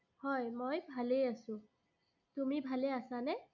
হয়, মই ভালেই আছো। তুমি ভালে আছানে?